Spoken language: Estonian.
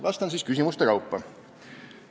Vastan teile küsimuste kaupa.